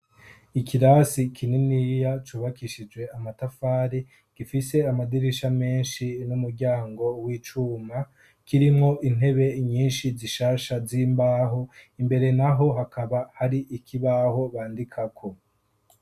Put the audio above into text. Ikirasi kininiya cubakishije amatafare gifise amadirisha menshi n'umuryango w'icuma, kirimwo intebe nyinshi zishasha z'imbaho imbere naho hakaba hari ikibaho bandikako.